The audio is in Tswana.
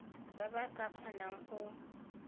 ba ba ka kgonang go